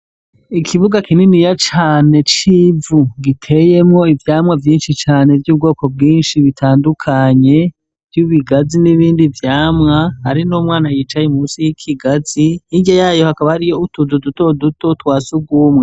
Ikibuga kininiya cane, c'ivu, giteyemwo ivyamwa vyinshi cane, vy'ubwoko bwinshi, bitandukanye, vy'ibigazi n'ibindi vyamwa, hari n'umwana yicaye munsi y'ikigazi, hirya yayo, hakaba hari utuzu duto duto, twa surwumwe.